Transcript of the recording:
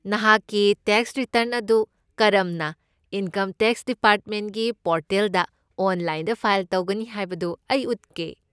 ꯅꯍꯥꯛꯀꯤ tax return ꯑꯗꯨ ꯀꯔꯝꯅ ꯏꯟꯀꯝ ꯇꯦꯛꯁ ꯗꯤꯄꯥꯔꯠꯃꯦꯟꯠꯀꯤ ꯄꯣꯔꯇꯦꯜꯗ ꯑꯣꯟꯂꯥꯏꯟꯗ ꯐꯥꯏꯜ ꯇꯧꯒꯅꯤ ꯍꯥꯏꯕꯗꯨ ꯑꯩ ꯎꯠꯀꯦ꯫